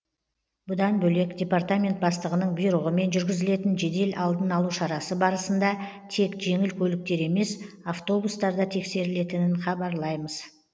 бұдан бөлек департамент бастығының бұйрығымен жүргізілетін жедел алдын алу шарасы барысында тек жеңіл көліктер емес автобустар да тексерілетінін хабарлаймыз